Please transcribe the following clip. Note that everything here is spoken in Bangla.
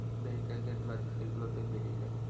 vehicle যে গুলো আছে সেগুলো তে বেরিয়ে যাবো